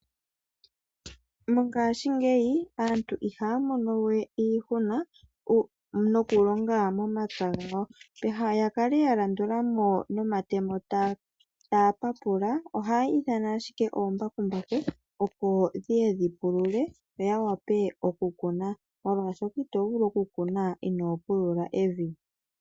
Mongashingeyi aantu ihaya mono wee iihuna mokulonga momapya gawo pehala lyokukala yalandulamo nomatemo taya papula ohaya ithana ashike omambakumbaku yo yawape okukuna molwaashoka itovulu okukuna ino pulula evi.